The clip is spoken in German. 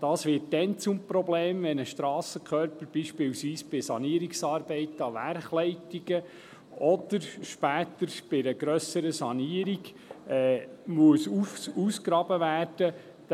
Dies wird dann zum Problem, wenn ein Strassenkörper beispielsweise bei Sanierungsarbeiten an Werkleitungen oder später bei einer grösseren Sanierung ausgegraben werden muss.